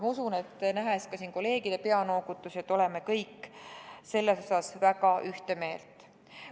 Ma usun, nähes ka siin kolleegide peanoogutusi, et oleme kõik selles osas väga ühte meelt.